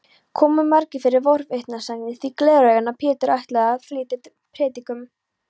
Komu margir fyrir forvitnisakir því Gleraugna-Pétur ætlaði að flytja prédikun.